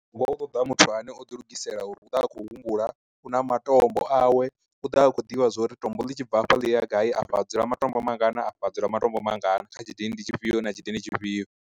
Ngo u ṱoḓa muthu ane o ḓi lugisela uri u ḓovha a khou humbula, u na matombo awe u ḓa a khou ḓivha zwori tombo ḽi tshi bva afha ḽi ya gai a fha adzula matombo mangana, a fha dzula matombo mangana kha tshidindi tshifhio na tshidindi tshifhio.